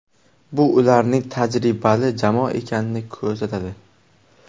Bu ularning tajribali jamoa ekanini ko‘rsatadi.